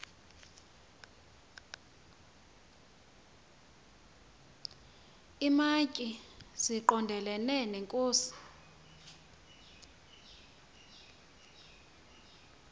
iimantyi zigondelene neenkosi